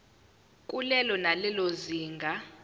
kulelo nalelo zinga